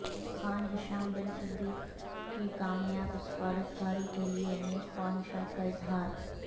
خان ھشام بن صدیق کی کامیاب سفارتکاری کیلئے نیک خواہشات کا اظہار